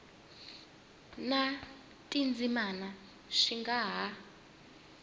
na tindzimana swi nga ha